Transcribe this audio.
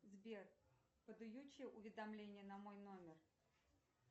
сбер уведомление на мой номер